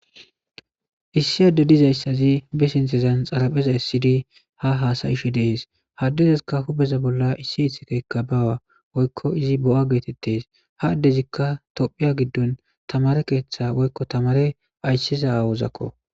Issi adde dizaysazi be sinthan xaraphe essidi ha haasa7ishe dees ha addezasika hu7eza bolla issi ithikey bawa woyko izi bo7a geetetees ha adezika tophiya gidddon tamaare keetha aysizasazako.